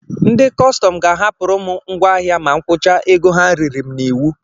Ndị kọstọm ga-ahapụrụ m ngwáahịa ma m kwụcha ego ha riri m n'iwu.